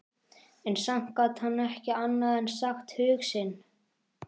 En samt gat hann ekki annað en sagt hug sinn.